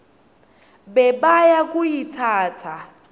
bebayakuyitsatsa